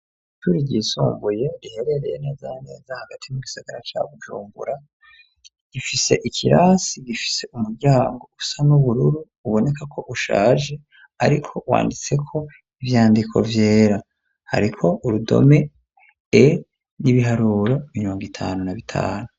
Ishuri ryisumbuye riherereye neza na neza hagati mu gisagara ca Bujumbura gifise ikirasi gifise umuryango usa n'ubururu uboneka ko ushaje ariko wanditseko ivyandiko vyera hariko urudome E n'ibiharuro mirongo itanu na bitanu.